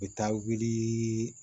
U bɛ taa wili